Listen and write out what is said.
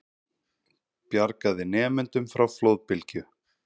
Bjargaði nemendum frá flóðbylgju